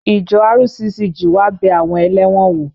Ìjọ RCCG wá bẹ àwọn ẹlẹ́wọ̀n wò